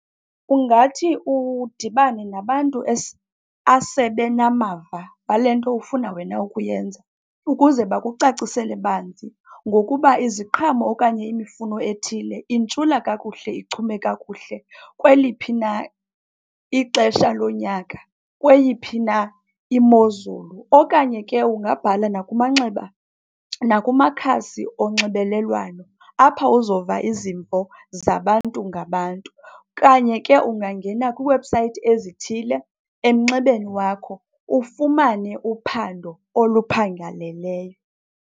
Ungathi udibane nabantu asebenamava wale nto ufuna wena ukuyenza, ukuze bakucacisele banzi ngokuba iziqhamo okanye imifuno ethile intshula kakuhle ichume kakuhle kweliphi na ixesha lonyaka, kweyiphi na imozulu. Okanye ke ungabhala nakumakhasi onxibelelwano, apha uzova izimvo zabantu ngabantu. Okanye ke ungangena kwi-website ezithile emnxebeni wakho ufumane uphando oluphangaleleyo.